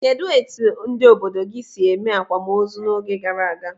Kedụ etu ndị obodo gị si eme akwamozu n'oge gara aga?